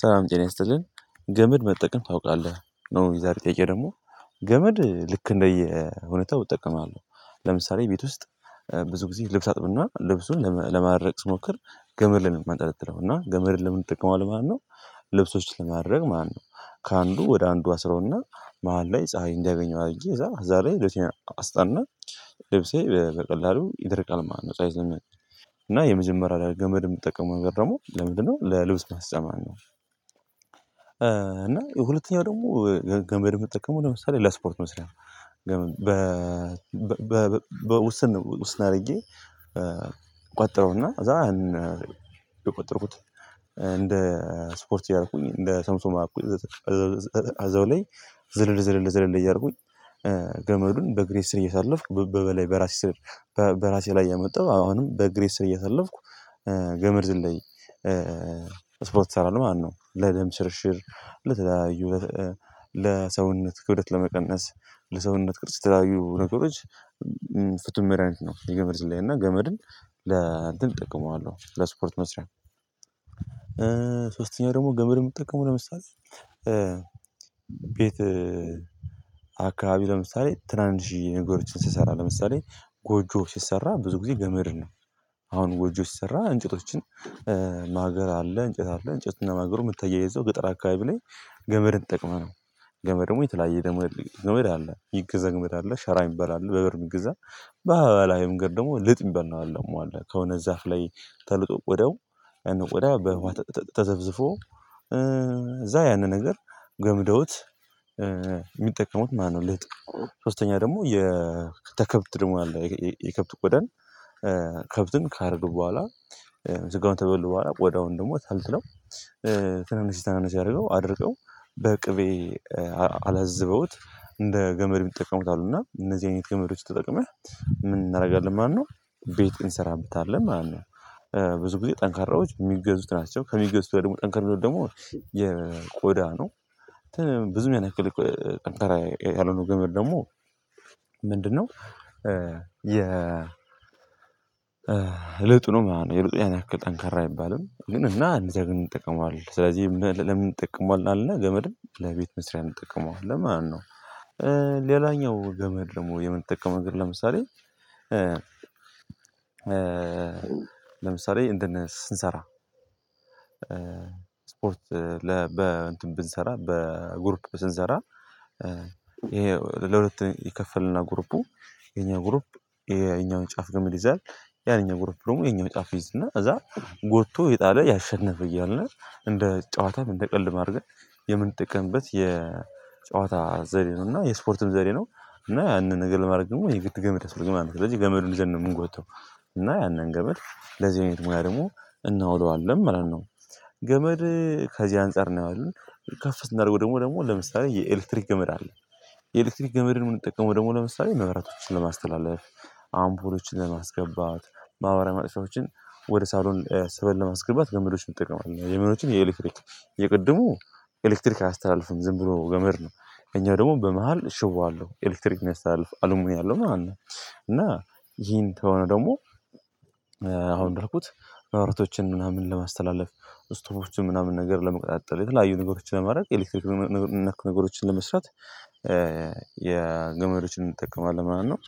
ሰላም ጤና ይስጥልኝ። ገመድ መጠቀም ታውቃለህ? ነው የዛሬ ጠየቀኝ ደግሞ ገመድ ልክ እንደየ እውነታው እጠቀማለሁ። ለምሳሌ ቤት ውስጥ ብዙ ጊዜ ልብስ አጥብና ልብሱን ለማድረቅ ስሞክር ገመድ ላይ ነው ማንጠለጥለው እና ገመድን ለምን ይጠቀማል ማነው? ልብሶች ለማድረግ ማነው? ከአንዱ ወደ አንዱ አስረውና መሃል ላይ ፀሀይ እንዳያገኘው አድርጌ እዛ ዛሬ ልጅን አስጠና። ልብሴ በቀላሉ ይደርቃል ማለት ነው። ጻይ ዘመን እና የመጀመሪያ ላይ ገመድ የምትጠቀመው ነገር ደግሞ ለምንድነው ለልብስ ማስጫ? እና ሁለተኛው ደግሞ ገመድ የትጠቀመው ለምሳሌ ለስፖርት መስሪያ ነው። በ በ በ ውስን ነው ውስን አድርጌ። ቋጠረውና እዛ አህን በቋጠርኩት እንደ ስፖርት ያደረኩኝ እንደ ሰምሶማ። አዘው ላይ ዝልዝልል ዝልዝልል እያደረኩኝ ገመዱን በእግሬ ስር እየተሳለፍኩ በበላይ በራሴ ስር በራሴ ላይ ያመጣው አሁንም በእግሬ ስር እያሾለኩ። ገመድ ዝለይ። ስፖርት እሰራለሁ ማነው? ለደም ሽርሽር ለተለያዩ ለሰውነት ክብደት ለመቀነስ ለሰውነት ቅርጽ ለተለያዩ ነገሮች ፍትህ መሪ አይነት ነው። የገመድ ዝላይ እና ገመድን ለ እንትን እጠቀመዋለሁ ለስፖርት መስሪያ። ሶስተኛ ደግሞ ገመድ የምጠቀመው ለምሳሌ ቤት አካባቢ ለምሳሌ ትራንጅ ነገሮችን ስሰራ ለምሳሌ ጎጆ ሲሰራ ብዙ ጊዜ ገመድ ነው። አሁን ጎጆ ሲሰራ እንጨቶችን ማገር አለ እንጨት አለ እንጨትና ማገሩ የምታያይ የዘው ገጠር አካባቢ ላይ ገመድ ጠቅመናል። ገመድ ደግሞ የተለያየ ደግሞ ህሊና ይገዛል ይገዛል ሻራ ይበላል አለ በበር የሚገዛ በሀበላዊ ምንገር ደግሞ ልጥ ይበል ነው። የምደመው አለ ከሆነ ዛፍ ላይ ተልጦ ቆዳው ወደ በውሃ ተዘብዝቦ እዛ ያንን ነገር ገምደውት። የሚጠቀሙት ማለት ነው። ልጥ ሶስተኛ ደግሞ የከብት ደግሞ አለ የከብት ቆዳን። ከብትን ካደረጉ በኋላ ስጋውን ተበሉ በኋላ ቆዳውን ደግሞ ተልትለው። ትናንሽ ትናንሽ ያደርገው አድርገው በቅቤ አላዘበውት እንደ ገመድ ይጠቀሙታል። እና እነዚህ አይነት ክምር ተጠቅመህ ምን እናደርጋለን ማነው? ቤት እንሰራለን ማለት ነው። ብዙ ጊዜ ጠንካራዎች የሚገዙት ናቸው ከሚገዙት ደግሞ ጠንካራ ደግሞ የቆዳ ነው። ብዙ የሚያነክል ቀንተራ ያልሆነው ግምር ደግሞ ምንድነው? የ እለቱ ነው የለበዚያን ያክል ጠንካራ አይባልም። ግን እና እንደዚህ አይነት ጠቀሟል ስለዚህ ለምን ጠቅሟል አለና ገመድም ለቤት መስሪያ እንጠቅመዋለን ማነው? ሌላኛው ገመድ ደግሞ የምንጠቀመው ነገር ለምሳሌ ለምሳሌ እንትን ስንሰራ። ስፖርት ለ በ እንትን ብንሰራ በ ግሩፕ ስንሰራ። ይሄ ለሁለት ይከፈልና ጉርፑ የኛ ጉርፕ የኛውን ጫፍ ግምር ይይዛል። ያኛው ጉረት ደግሞ የኛው ጫፍ ይይዝና እዛ ጎትቶ የጣለ ያሸነፈ እያለ እንደ ጨዋታም እንደ ቀልድም ማድረግ። የምንጠቀምበት የጨዋታ ዘር ነው እና የስፖርትም ዘር ነው። እና ያንን ነገር ለማድረግ ወይ የግብር ገመድ አስር ግማሽ ከዛ ገመዱን ዘን ነው የምንጎተው። እና ያንን ገመድ ለዚህ አይነት ሙያ ደግሞ እናውለዋለን ማለት ነው። ገመድ ከዚህ አንፃር ነው ያየው ከፍ እንዳደረገው ደግሞ ለምሳሌ የኤሌክትሪክ ገመድ አለ። የኤሌክትሪክ ገመድን እንድንጠቀመው ደግሞ ለምሳሌ መብራቶችን ለማስተላለፍ አምቦሎችን ለማስገባት በአባራን ማጥፋቶችን ወደ ሳሎን ስበል ለማስገባት ገመዶች ብትጠቀም አለ የሚሉትን የኤሌክትሪክ የቅድሙ ኤሌክትሪክ አስተላልፍም ዝም ብሎ ገመድ ነው። እኛ ደግሞ በመሃል ሽቦ ኤሌክትሪክ ነው የስተላልፍ አሉም ያለው ማለት ነው። እና ይሄን ከሆነ ደግሞ አሁን ያልኩት ማብራቶችን ምናምን ለማስተላለፍ ስቶፎችን ምናምን ነገር ለመቆጣጠር የተለያዩ ነገሮችን ለማድረግ የኤሌክትሪክ ነክ ነገሮችን ለመስራት። የገመዶችን እንጠቀማለን ማለት ነው።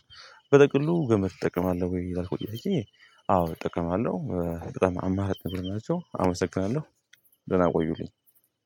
በጠቅሉ ገመድ እጠቀማለሁ ወይ ያልኩት አየህ? ጥቅም አለው። ጥቅም አማህ ነው የምላቸው አመሰግናለሁ። ደህና ቆዩልኝ።